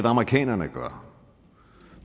amerikanerne gør